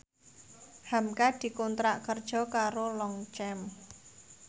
hamka dikontrak kerja karo Longchamp